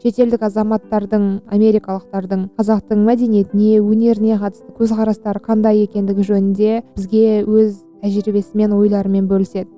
шетелдік азаматтардың америкалықтардың қазақтың мәдениетіне өнеріне қатысты көзқарастары қандай екендігі жөнінде бізге өз тәжірибесімен ойларымен бөліседі